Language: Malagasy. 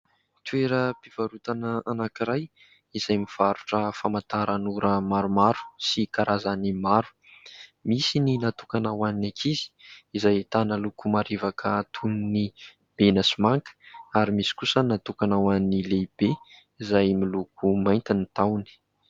Toeram-pivarotana anankiray izay mivarotra famantaran'ora maromaro sy karazany maro. Misy ny natokana ho an'ny ankizy, izay ahitana loko marevaka toy ny mena sy manga, ary misy kosa ny natokana ho an'ny lehibe izay miloko mainty ny tahony.